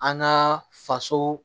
An ka faso